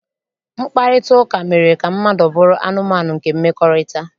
Mkparịtaụka mere ka mmadụ bụrụ anụmanụ nke mmekọrịta